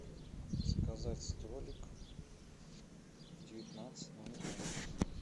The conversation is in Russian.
заказать столик в девятнадцать ноль ноль